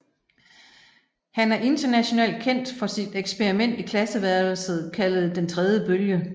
Han er internationalt kendt for sit eksperiment i klasseværelset kaldet Den tredje bølge